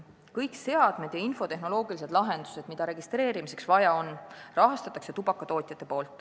Kõik seadmed ja infotehnoloogilised lahendused, mida registreerimiseks vaja on, maksavad kinni tubakatootjad.